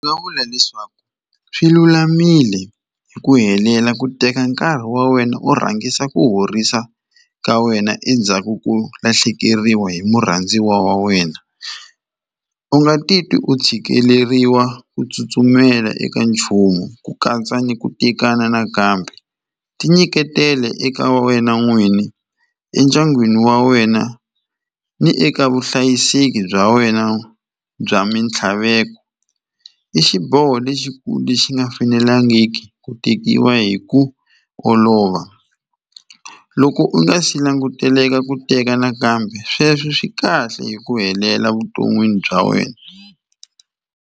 Ni nga vula leswaku swi lulamile hi ku helela ku teka nkarhi wa wena u rhangisa ku horisa ka wena endzhaku ko lahlekeriwa hi murhandziwa wa wena u nga ti twi u tshikeleriwa ku tsutsumela eka nchumu ku katsa ni ku tekana nakambe ti nyiketela eka wena n'wini endyangwini wa wena ni eka vuhlayiseki bya wena bya mintlhaveko i xiboho lexikulu lexi nga fanelangiki ku tekiwa hi ku olova loko u nga si languteleka ku teka nakambe sweswo swi kahle hi ku helela vuton'wini bya wena.